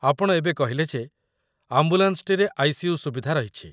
ଆପଣ ଏବେ କହିଲେ ଯେ ଆମ୍ବୁଲାନ୍ସଟିରେ ଆଇ.ସି.ୟୁ. ସୁବିଧା ରହିଛି।